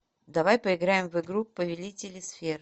давай поиграем в игру повелители сфер